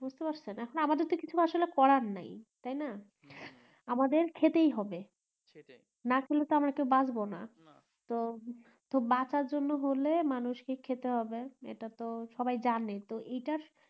বুঝতে পারছেন এখন আমাদেরতো কিছু করার নাই তাইনা আমাদের না খেলে তো আমরা কেউ বাঁচবোনা তো বাঁচার জন্য হলে মানুষ কে খেতে হবে এটা তো সবাই জানে তো এইটা